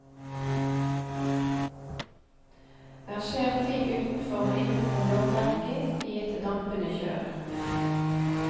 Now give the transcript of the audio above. Her skjer ting utenfor og innenfor lovverket i et dampende kjør.